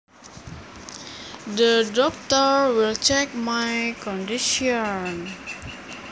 The doctor will check my condition